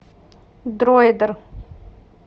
дроидер